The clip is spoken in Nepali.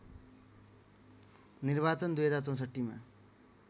निर्वाचन २०६४ मा